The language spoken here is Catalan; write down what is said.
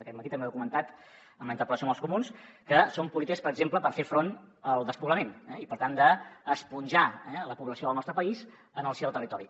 aquest matí també ho he comentat en la interpel·lació amb els comuns que són polítiques per exemple per fer front al despoblament i per tant d’esponjar la població del nostre país en el si del territori